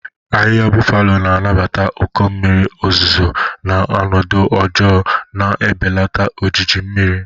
Ahịhịa Buffalo na-anabata ụkọ mmiri ozuzo na ọnọdụ ọjọọ, na-ebelata ojiji mmiri.